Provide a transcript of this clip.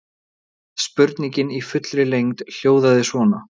Spurningin í fullri lengd hljóðaði svona: